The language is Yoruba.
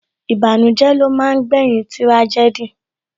Ìbànújẹ́ ló máa ń gbé yín tírájẹ́dì